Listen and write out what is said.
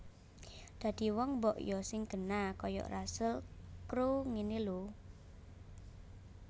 Dadi wong mbok yo sing genah koyok Russel Crowe ngene lho